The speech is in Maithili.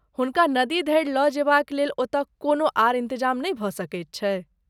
हुनका नदी धरि लऽ जेबाक लेल ओतय कोनो आर इन्तजाम नहि भऽ सकैत छै?